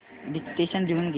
dictation लिहून घे